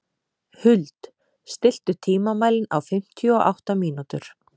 Huld, stilltu tímamælinn á fimmtíu og átta mínútur.